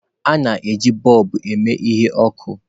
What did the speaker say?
A na-eji bọlbu eme ihe ọkụ.